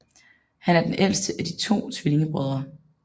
Han er den ældste af de to tvillingebrødre